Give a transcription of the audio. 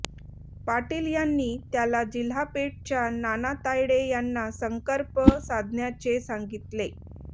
पाटील यांनी त्याला जिल्हापेठच्या नाना तायडे यांना संकर्प साधण्याचे सांगितले